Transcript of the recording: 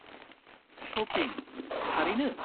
Shopping, थारैनो?